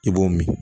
I b'o min